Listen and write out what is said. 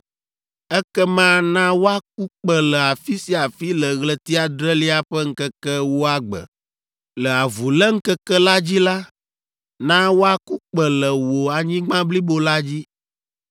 Ekema na woaku kpẽ le afi sia afi le ɣleti adrelia ƒe ŋkeke ewoa gbe; le Avuléŋkeke la dzi la, na woaku kpẽ le wò anyigba blibo la dzi.